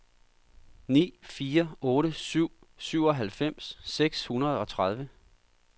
ni fire otte syv syvoghalvfems seks hundrede og tredive